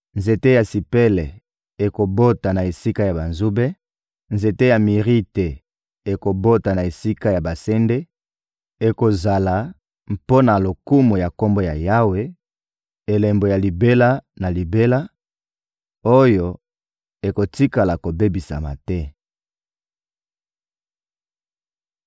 Nzete ya sipele ekobota na esika ya banzube, nzete ya mirite ekobota na esika ya basende; ekozala, mpo na lokumu ya Kombo ya Yawe, elembo ya libela na libela, oyo ekotikala kobebisama te.»